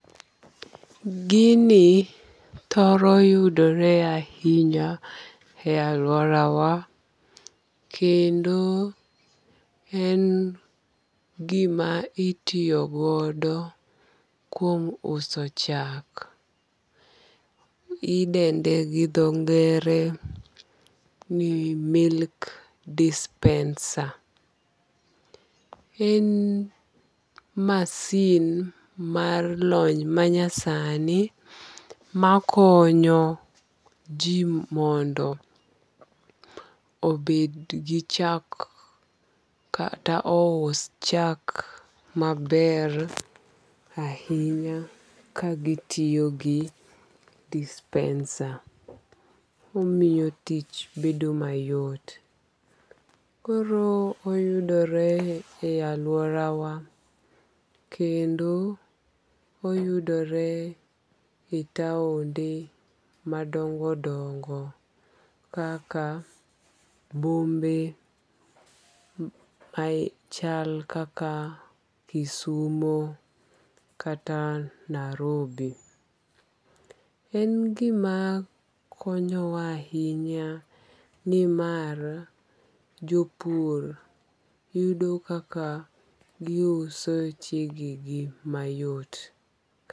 Gini thoro yudore ahinya e aluora wa kendo en gima itiiyo godo kuom uso chak. Idende gi dho ngere ni milk dispenser. En masin mar lony manyasani makonyo ji mondo obed gi chak kata ous chak maber ahinya ka gi tiyo gi dispenser. Omiyo tich bedo mayot. Koro oyudore e aluora wa kendo oyudore e taonde madongo dongo kaka bombe machal kaka Kisumo kata Nairobi. En gima konyo wa ahinya nimar jopur yudo kaka giuso chege gi mayot.